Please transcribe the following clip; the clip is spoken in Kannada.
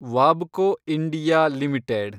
ವಾಬ್ಕೊ ಇಂಡಿಯಾ ಲಿಮಿಟೆಡ್